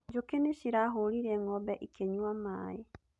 Njũkĩ nĩ cirahũrire ng'ombe ikĩnyua maaĩ